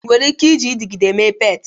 Ị nwere ike iji ịdịgịde mee pet?